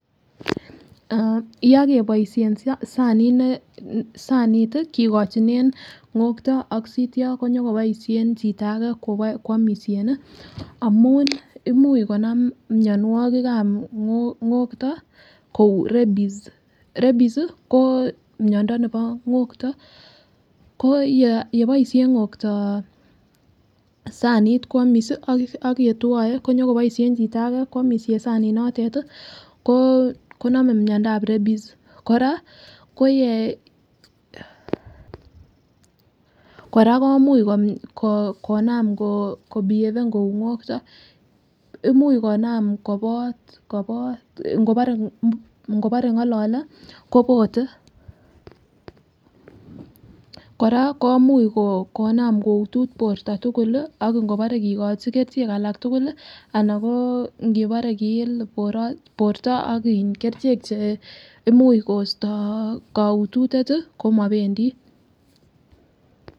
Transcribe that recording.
Yah keboishen sanit ne gakigochinen ngogto ak sityo nyokeboisien chito age kwomisien amun imuch konam mianwakik ab ngogto kou rebis "rebis",ko mianwakik ab ngogto ko keboishen ngokto sanit kwomis ak yetwae ko nyegoboisien chito age kwomisien sanit notetan koname miandab rebis kora ko kora koimich konaam kobiefen kou ngokto imuch konaam kopot ngopore ngolale kopote kora koimuch konaam koutut borto tugul ak ingebore kigochi kerichek alak tugul anan ingebore kiil borto akin kerichek che imuuch koisto koutut komapendi